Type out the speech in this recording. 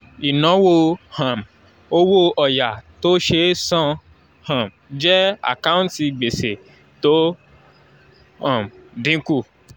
ìnáwó um owó ọ̀yà tó ṣe é san um jẹ́ àkáǹtì gbèsè tó ń um dínkù